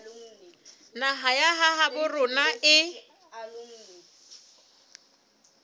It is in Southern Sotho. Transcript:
naha ya habo rona e